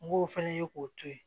N b'o fana ye k'o to ye